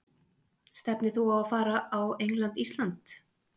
Stefnir þú á að fara á England- Ísland?